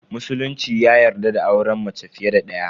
Musulunci ya yarda da auren mace fiye da daya.